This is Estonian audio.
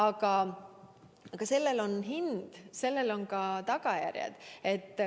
Aga sellel on hind, sellel on tagajärjed.